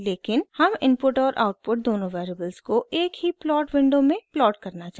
लेकिन हम इनपुट और आउटपुट दोनों वेरिएबल्स को एक ही प्लॉट विंडो में प्लॉट करना चाहते हैं